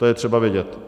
To je třeba vidět.